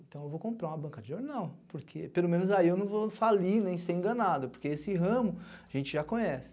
Então eu vou comprar uma banca de jornal, porque pelo menos aí eu não vou falir, nem ser enganado, porque esse ramo a gente já conhece.